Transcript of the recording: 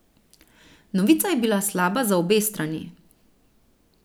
Novica je bila slaba za obe strani.